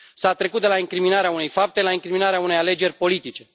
S a trecut de la incriminarea unei fapte la incriminarea unei alegeri politice.